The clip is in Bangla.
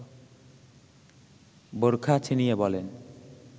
বোরখা ছিনিয়ে বলেন